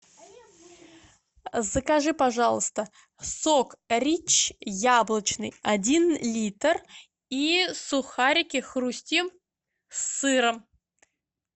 закажи пожалуйста сок рич яблочный один литр и сухарики хрустим с сыром